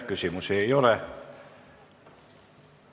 Küsimusi ei ole.